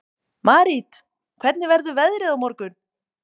Marit, hvernig verður veðrið á morgun?